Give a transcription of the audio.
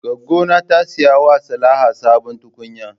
Goggo ta saya wa Salaha sabon tukunya.